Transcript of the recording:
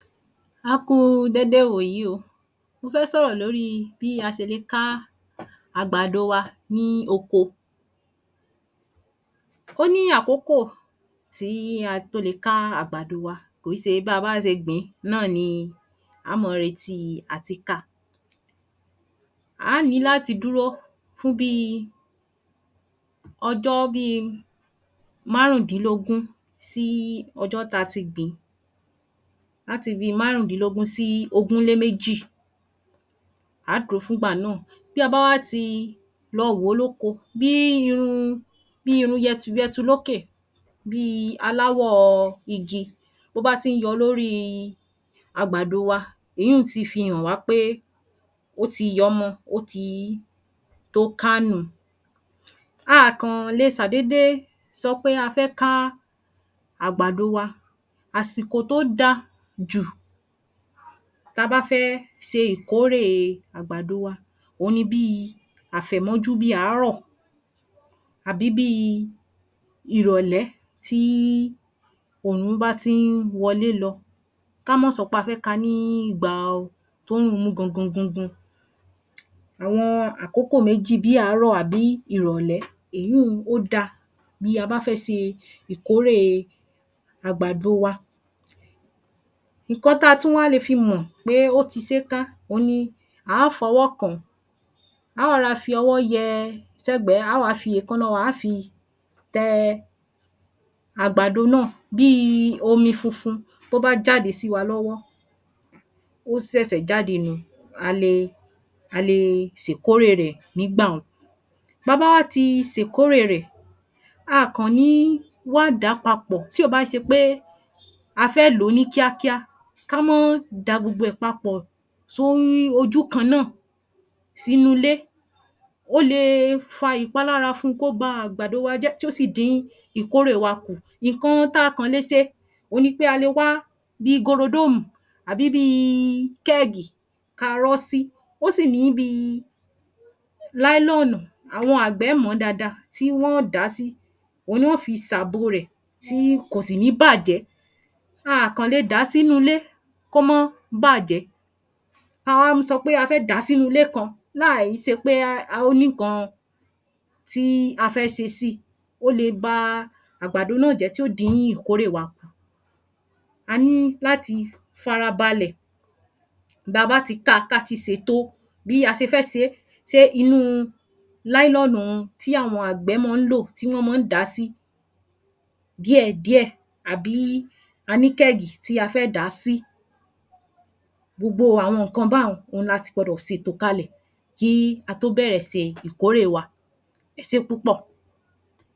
A Kú u dédé ìwòyí o mọ fẹ́ sọ̀rọ̀ lórí bí a se le ká àgbàdo wa ní oko ó ní àkókò tíí a tó lè ká àgbàdo wa kí ṣe ba bá ṣe gbìn náà ni á mọ reti à ti ká á á ní láti dúró fún bíi ojó bi marundínlógún sií ọjọ́ ta ti gbìn à ti bi márùndínlógún sí ogún lé méjì a dúró fún ìgbà náà bí a bá ti lọ wo lókò bíi irun-un bí irun-un yẹtuyẹtu lókè bíi aláwọ̀o igi bo ba ti ń yọ lóri àgbàdo wa, eyunn ti fi hàn wa pé ó ti yọmọ, ó ti tóo ká nu ń. A kàn le ṣà déédé sọpé a fẹ́ káa àgbàdo wa. Àsìkò tó daa jù ta bá fẹ́ ṣe ìkórèe àgbàdo wa, ó ní bii àfẹ̀mọ́jú bi árọ́, àbí bii ìrọ̀lẹ́ tíi òrùn bá ti ń wọlé lọ. Ka mọ́ sọpé a fé ka níi ìgbào tórùn mú gangan gangan. Àwọn àkókò méjì bí àárò àbí irọlẹ, eéyun ó dáa bí a bá fẹ́ ṣe ìkórèe àgbàdo wa. Ìkan ta le tún wá mọ pé ó ti ṣé ká òhun ní à á fọwọ́ kàn, a á rọra fọwọ́ yẹ ẹ s'ẹgbẹ, a á wá fi èkánná wa á fi tẹ àgbàdo náà bí i omi funfun to bá jáde sí wa lọ́wọ́ ó ṣẹ̀ṣẹ̀ jáde nù n, a le a le ṣè kórè rè nígbà-un. Ba bá ti ṣe ìkórèe rẹ̀, a kàn ní wá dàá papọ̀ tí ò bá ṣepe a fẹ́ lò ní kíákíá, ka mọ́ da gbogbo ẹ̀ papọ̀ sò rí ojú kanna si nulé. Ó le e fa ìpalára fun kó ba àgbàdo wa jẹ́, tíó sì dín ìkórè wa kù. Ìkan ta kàn le ṣè, on ni pé a kàn le wá bi gorodomù àbí bi i kẹgì ka ri sí. Ó sì ní bi Náílonùu àwọn àgbẹ̀ mọ dáadáa tí wọ́n dà sí, on ní wọ́n fi sàbò rẹ̀ tí kò sì ní bàjẹ̀. A kàn le dà sínu ilé kómọ́ bàjẹ̀. Ta wá sọpé a fé dà sínu ilé kán, laì ṣepé ón ní kan tíi a fẹ́ ṣe sí, ó le baa àgbàdo náà jẹ, tí ó dín ìkórè wa kù. A ní láti fara balẹ̀ ba bá ti ka, ta tí ṣètò bí á ṣe fẹ́ṣé, ṣé inuu láínọ́nùn tí àwọn àgbẹ̀ mọ́n lò, tí wọn máa n dasí. Díèdíẹ̀ àbí a ní kẹgì tí a fẹ dà síi. Gbogbo àwon ǹkan bá n làsì gbọdọ̀ sètò kalẹ̀ kíi a tó bẹ̀rẹ̀ ṣe ìkórè wa, ẹṣé púpò.